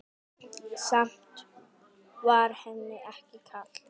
Samt var henni ekki kalt.